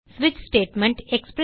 ஸ்விட்ச் ஸ்டேட்மெண்ட்